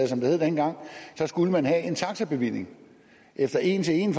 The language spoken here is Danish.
som det hed dengang skulle man have en taxabevilling efter en til en